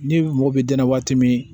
Ni mɔgɔ bɛ dɛnna waati min